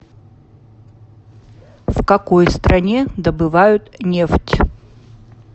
в какой стране добывают нефть